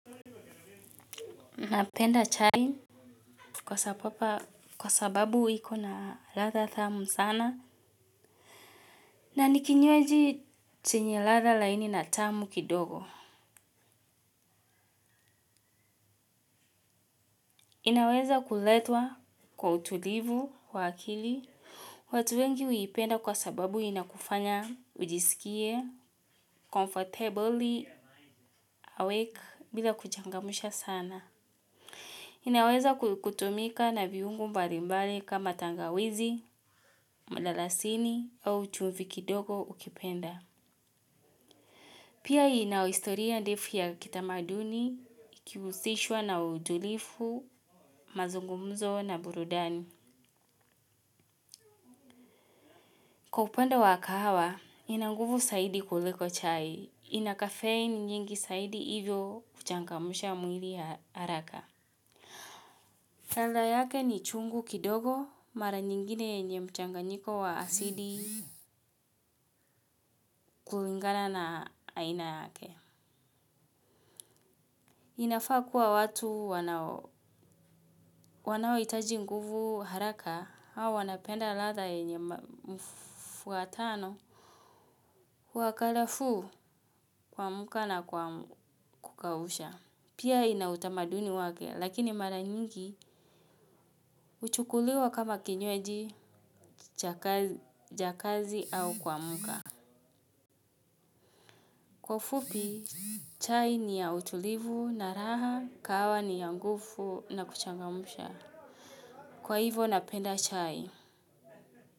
Napenda chai kwa sababu iko na ladha thamu sana na nikinywaji chenye ladha laini na tamu kidogo. Inaweza kuletwa kwa utulivu wa akili. Watu wengi huipenda kwa sababu inakufanya ujisikie, comfortably awake bila kuchangamsha sana. Inaweza kutumika na viungo mbalimbali kama tangawizi, malalasini au chumvi kidogo ukipenda. Pia ina historia ndefu ya kitamaduni, kihusishwa na utulifu, mazungumzo na burudani. Kwa upande wa kahawa, ina nguvu saidi kuliko chai. Ina caffeine nyingi saidi hivyo kuchangamsha mwili haraka. Ladha yake ni chungu kidogo mara nyingine yenye mchanganyiko wa asili kulingana na aina yake. Inafaa kuwa watu wanaohitaji nguvu haraka au wanapenda ladha yenye mfuatano wa kalafuu kuamka na kukausha. Pia ina utamaduni wake lakini mara nyingi huchukuliwa kama kinyweji ja kazi au kuamka. Kwa ufupi, chai ni ya utulivu na raha, kawa ni ya ngufu na kuchangamsha. Kwa hivo napenda chai.